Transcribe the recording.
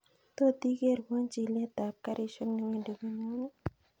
Tot ikerwon chilet ab garishek newendi konyonn